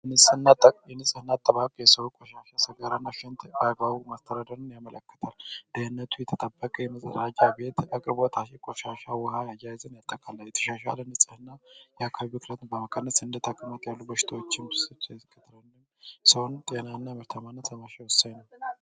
እንጽህና አጠባቅ የሰው ቆሻሻ ስጋራን ሸንት አጋቡ ማስተረደርን ያመለከታል ።ድህነቱ የተጠበቀ የመፅራጃ ቤት አቅርቦታሺ ቆሻሻ ውሃ ያይዝን ያጠካላ የተሻሻለ ንጽህእና የአካቢ ክለትን በመከነስ እንደታቅመት ያሉ በሽተዎችን ክትረንም ሰውን ጤና እና የምርተማነ ተመሻ ውሳይ ነው